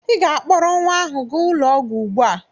Ị ga-akpọrọ nwa ahụ gaa ụlọ ọgwụ ugbu a!